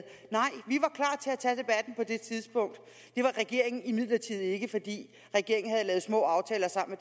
nej det tidspunkt det var regeringen imidlertid ikke fordi regeringen havde lavet små aftaler sammen